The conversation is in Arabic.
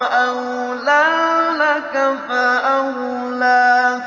أَوْلَىٰ لَكَ فَأَوْلَىٰ